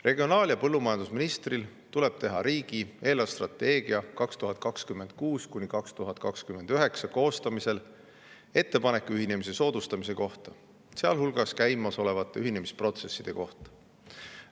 Regionaal‑ ja põllumajandusministril tuleb teha riigi eelarvestrateegia 2026–2029 koostamisel ettepanek ühinemiste soodustamise kohta, sealhulgas käimasolevate ühinemisprotsesside kohta.